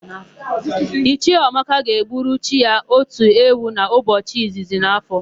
Ichie Ọmaka ga-egburu chi ya otu ewu n'ụbọchị izizi n'áfọ̀.